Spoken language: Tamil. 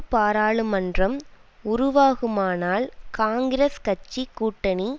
பாராளுமன்றம் உருவாகுமானால் காங்கிரஸ் கட்சி கூட்டணி